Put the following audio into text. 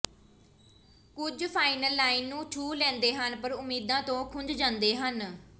ਕੁਝ final line ਨੂੰ ਛੂਹ ਲੈਂਦੇ ਹਨ ਪਰ ਉਮੀਦਾਂ ਤੋਂ ਖੁੰਝ ਜਾਂਦੇ ਹਨ